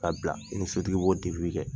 Ka bila i ni sotigi b'o bɛɛ kɛ.